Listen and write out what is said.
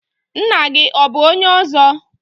Ńnà gị ọ bụ ọnye ọzọ?